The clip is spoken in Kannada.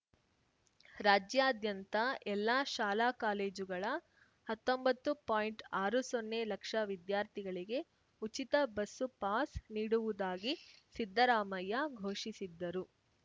ರಾಜ್ಯಾದ್ಯಂತ ಎಲ್ಲಾ ಶಾಲಾಕಾಲೇಜುಗಳ ಹತ್ತೊಂಬತ್ತು ಪಾಯಿಂಟ್ಆರು ಸೊನ್ನೆ ಲಕ್ಷ ವಿದ್ಯಾರ್ಥಿಗಳಿಗೆ ಉಚಿತ ಬಸ್ಸು ಪಾಸ್‌ ನೀಡುವುದಾಗಿ ಸಿದ್ದರಾಮಯ್ಯ ಘೋಷಿಸಿದ್ದರು